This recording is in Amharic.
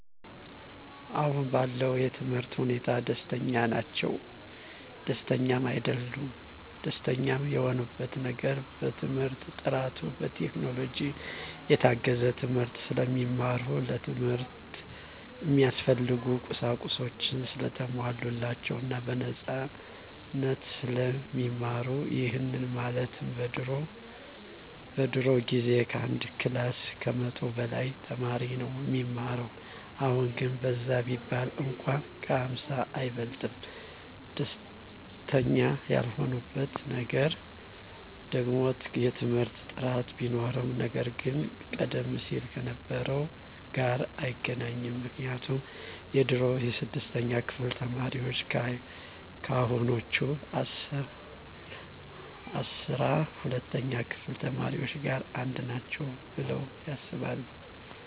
አሁን ባለው የትምህርት ሁኔታ ደስተኛ ናቸውም ደስተኛም አይደሉምም። ደስተኛ የሆኑበት ነገር በትምህርት ጥራቱ፣ በቴክኖሎጂ የታገዘ ትምህርት ስለሚማሩ፣ ለትምህርት እሚያስፈልጉ ቁሳቁሶች ሰለተሟሉላቸው እና በነፃነት ስለሚማሩ ይህም ማለት በድሮ ጊዜ ከአንድ ክላስ ከመቶ በላይ ተማሪ ነው እሚማረው አሁን ግን በዛ ቢባል እንኳን ከ ሃምሳ አይበልጥም። ደስተኛ ያልሆኑበት ነገር ደግሞ የትምህርት ጥራት ቢኖርም ነገር ግን ቀደም ሲል ከነበረው ጋር አይገናኝም ምክንያቱም የድሮ የስድስተኛ ክፍል ተማሪዎች ከአሁኖቹ አስራ ሁለተኛ ክፍል ተማሪዎች ጋር አንድ ናቸው ብለው ያስባሉ።